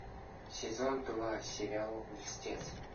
сезон два сериал льстец